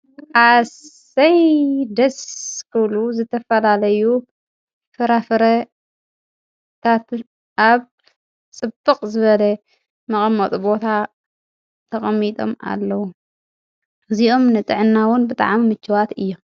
ኣሰይ ደስ ክብሉ ዝተፈላለዩ ፍራፍረታት ኣብ ጽብቅ ዝበለ መቀምጢ ቦታ ተቀሚጦም ኣለዉ፤ እዚኦም ንጥዕና ዉን ብጣዕሚ ምችዋት እዮም።